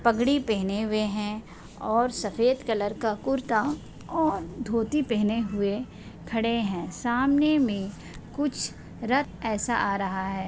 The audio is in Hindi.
पगड़ी पहने हुए है और सफेद कलर का कुर्ता और धोती पहने हुए खड़े है सामने मे कुछ रथ ऐसा आ रहा है।